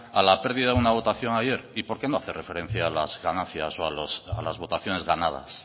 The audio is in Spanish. a la pérdida de una votación ayer y por qué no hace referencia a las ganancias o a las votaciones ganadas